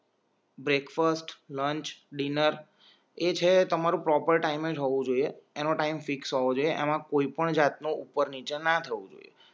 break fast lunch dinner એ છે તમારું પ્રોપર ટાઈમે જ હોવું જોઈએ એ નો ટાઇમ ફિક્સ હોવો જોઈએ એમાં કોઈપણ જાત નો ઉપર નીચે ના થવું જોઈએ